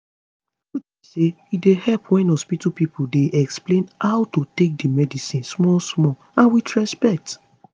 truth be say e dey help wen hospitol workers dey explain how to take to take medicine small small and with respect